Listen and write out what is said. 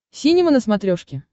синема на смотрешке